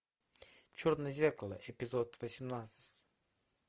черное зеркало эпизод восемнадцать